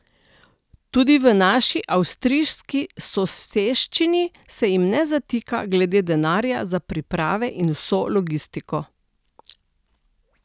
Tudi v naši avstrijski soseščini se jim ne zatika glede denarja za priprave in vso logistiko.